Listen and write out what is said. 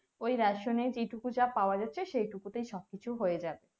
ওই ration এ যেটুকু যা পাওয়া যাচ্ছে সেই টুকু তাই সব কিছু হয়ে যাবে